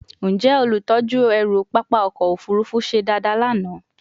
Njẹ olutọju ẹru papa ọkọ ofurufu se dada lana?